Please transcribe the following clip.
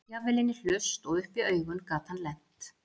Jafnvel inn í hlust og upp í augun gat hann lent.